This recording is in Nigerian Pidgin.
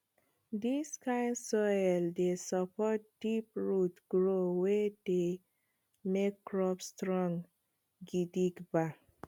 dis kind soil dey support deep root growth wey dey make crops strong gidigba